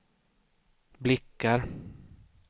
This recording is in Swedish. blickar